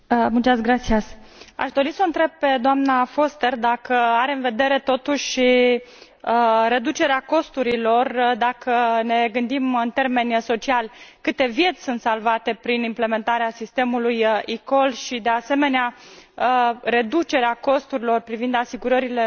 Aș dori s o întreb pe doamna Foster dacă are în vedere totuși reducerea costurilor, dacă ne gândim în termeni sociali câte vieți sunt salvate prin implementarea sistemului eCall și, de asemenea, reducerea costurilor privind asigurările sociale pentru